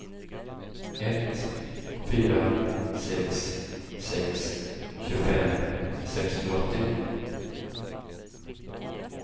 ett fyra sex sex tjugofem sexhundraåttio